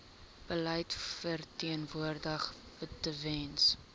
beleid verteenwoordig tewens